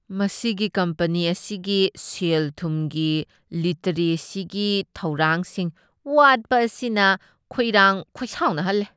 ꯃꯁꯤꯒꯤ ꯀꯝꯄꯅꯤ ꯑꯁꯤꯒꯤ ꯁꯦꯜ ꯊꯨꯝꯒꯤ ꯂꯤꯇꯔꯦꯁꯤꯒꯤ ꯊꯧꯔꯥꯡꯁꯤꯡ ꯋꯥꯠꯄ ꯑꯁꯤꯅ ꯈꯣꯏꯔꯥꯡ ꯈꯣꯏꯁꯥꯎꯅꯍꯜꯂꯤ꯫